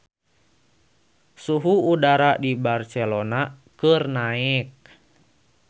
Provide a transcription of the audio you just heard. Suhu udara di Barcelona keur naek